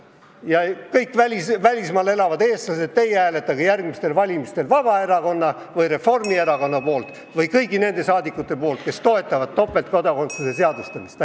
Ja kõik välismaal elavad eestlased, teie hääletage järgmistel valimistel Vabaerakonna või Reformierakonna poolt või kõigi nende poolt, kes toetavad topeltkodakondsuse seadustamist!